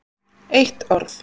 Eitt orð